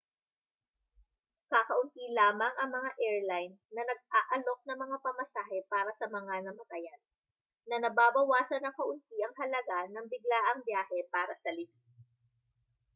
kakaunti lamang ang mga airline na nag-aalok ng mga pamasahe para sa mga namatayan na nababawasan nang kaunti ang halaga ng biglaang biyahe para sa libing